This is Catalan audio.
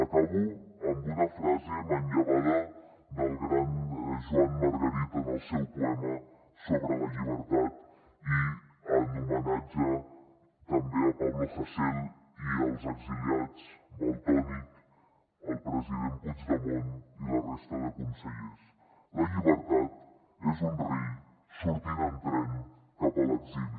acabo amb una frase manllevada del gran joan margarit en el seu poema sobre la llibertat i en homenatge també a pablo hasél i als exiliats valtònyc el president puigdemont i la resta de consellers la llibertat és un rei sortint en tren cap a l’exili